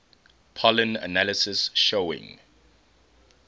pollen analysis showing